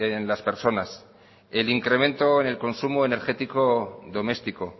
de las personas el incremento en el consumo energético domestico